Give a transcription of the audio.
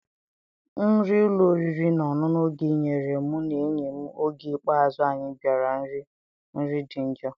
Nri ụlọ oriri na ọṅụṅụ gị nyere mụ na enyi m oge ikpeazụ anyị bịara iri nri dị njọ